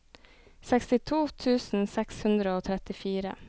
sekstito tusen seks hundre og trettifire